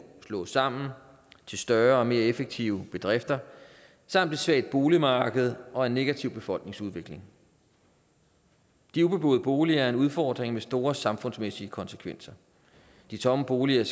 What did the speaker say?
slås sammen til større og mere effektive bedrifter samt et svagt boligmarked og en negativ befolkningsudvikling de ubeboede boliger er en udfordring med store samfundsmæssige konsekvenser de tomme boliger